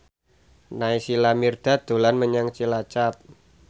Naysila Mirdad dolan menyang Cilacap